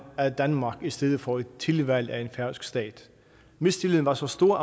af danmark i stedet for et tilvalg af en færøsk stat mistilliden var så stor